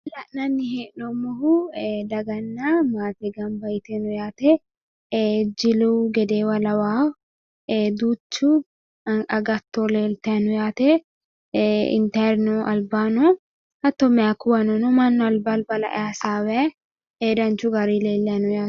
La'nanni hee'noommohu daganna maate gamba yitino yaate. Ee jilu gedeewa lawawo hattono duucha agatto leeltayi no yaate intayirino albaanni no hattono mayikuwano no mannu alba alba hige hasaawayi no danchu garinni leellayi no yaate.